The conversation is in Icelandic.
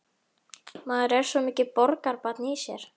Maður er svo mikið borgarbarn í sér.